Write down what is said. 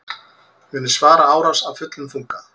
Munu svara árás af fullum þunga